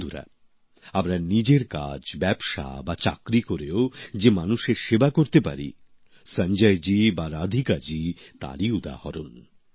বন্ধুরা আমরা নিজের কাজ ব্যবসা বা চাকরি করেও যে মানুষের সেবা করতে পারি সঞ্জয়জি বা রাধিকাজি তারই উদাহরণ